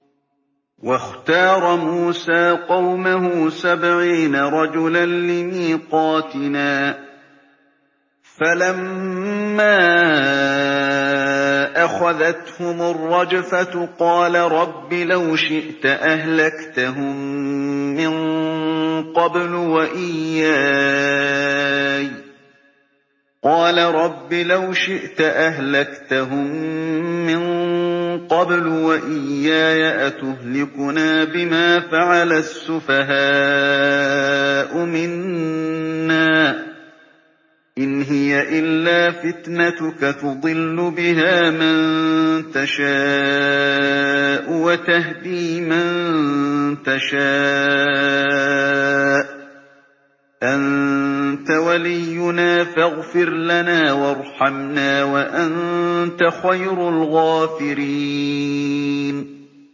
وَاخْتَارَ مُوسَىٰ قَوْمَهُ سَبْعِينَ رَجُلًا لِّمِيقَاتِنَا ۖ فَلَمَّا أَخَذَتْهُمُ الرَّجْفَةُ قَالَ رَبِّ لَوْ شِئْتَ أَهْلَكْتَهُم مِّن قَبْلُ وَإِيَّايَ ۖ أَتُهْلِكُنَا بِمَا فَعَلَ السُّفَهَاءُ مِنَّا ۖ إِنْ هِيَ إِلَّا فِتْنَتُكَ تُضِلُّ بِهَا مَن تَشَاءُ وَتَهْدِي مَن تَشَاءُ ۖ أَنتَ وَلِيُّنَا فَاغْفِرْ لَنَا وَارْحَمْنَا ۖ وَأَنتَ خَيْرُ الْغَافِرِينَ